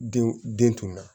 Denw den tun na